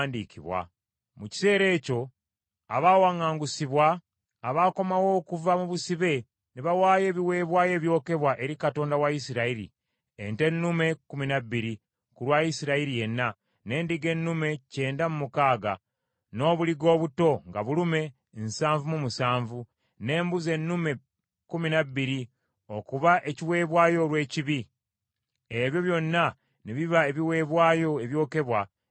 Mu kiseera ekyo abaawaŋŋangusibwa, abakomawo okuva mu busibe, ne bawaayo ebiweebwayo ebyokebwa eri Katonda wa Isirayiri: ente ennume kkumi na bbiri ku lwa Isirayiri yenna, n’endiga ennume kyenda mu mukaaga, n’obuliga obuto nga bulume nsanvu mu musanvu, n’embuzi ennume kkumi na bbiri okuba ekiweebwayo olw’ekibi, ebyo byonna ne biba ebiweebwayo ebyokebwa eri Mukama .